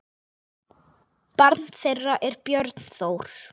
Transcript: Barn þeirra er Björn Þór.